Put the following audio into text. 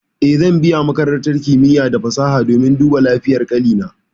Eh, zan biya makarantar kimiya da fasaha domin duba lafiyar ƙanina.